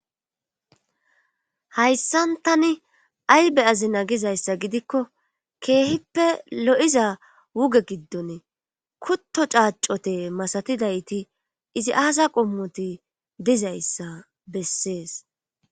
hayssan tani ay beyazina gizayssa gidikko keehippe lo7iza wuge giddone kutto caacote masatidayti izi aasa qommoti dizayssa bessees